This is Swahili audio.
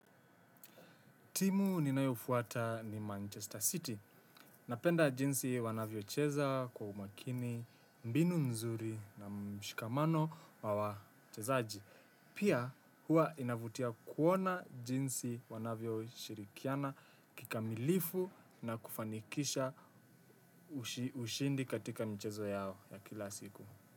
Timu ninayofuata ni Manchester City. Napenda jinsi wanavyocheza kwa umakini, mbinu mzuri na mshikamano wa wachezaji. Pia huwa inavutia kuona jinsi wanavyoshirikiana kikamilifu na kufanikisha ushindi katika michezo yao ya kila siku.